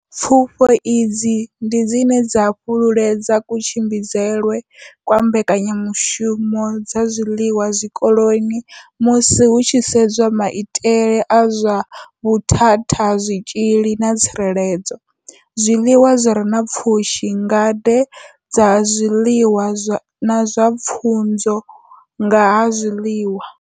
Pfufho idzi ndi dzine dza fhululedza kutshimbidzelwe kwa mbekanyamushumo dza zwiḽiwa zwikoloni musi hu tshi sedzwa maitele a zwa vhuthathazwitzhili na tsireledzo, zwiḽiwa zwi re na pfushi, ngade dza zwiḽiwa na pfunzo dza nga ha zwiḽiwa.